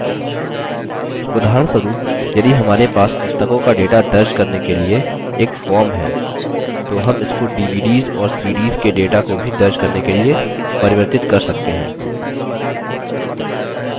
उदाहरणस्वरुप यदि हमारे पास पुस्तकों का data दर्ज करने के लिए एक form है तो हम इसको dvds और cds के data को भी दर्ज करने के लिए परिवर्तित कर सकते हैं